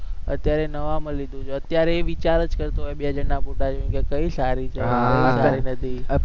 અત્યારે નવામાં લીધું છે, અત્યારે એ વિચાર જ કરતો હોય બે જણ ના મોઢા જોઈને કે કઈ સારી છે